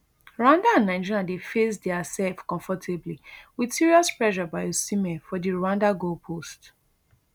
rwanda and nigeria dey face diasef comfortably wit serious pressure by osimhen for di rwanda goalpost